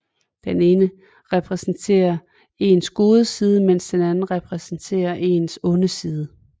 Den ene repræsenterer ens gode side mens den anden repræsenterer ens onde side